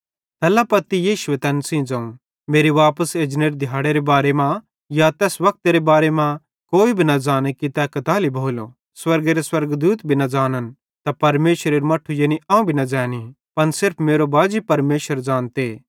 तैल्ला पत्ती यीशुए तैन सेइं ज़ोवं मेरे वापस एजनेरे दिहाड़ेरे बारे मां या तैस वक्तेरे बारे मां कोई भी न ज़ाने कि तै कताली भोलो स्वर्गेरे स्वर्गदूते भी न ज़ानन् त परमेशरेरू मट्ठू यानी अवं भी न ज़ैनी पन सिर्फ मेरो बाजी परमेशर ज़ानते